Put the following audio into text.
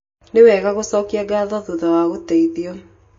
Nĩ wega gũcokia ngatho thutha wa gũteithio.